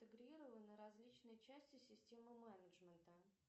интегрированы различные части системы менеджмента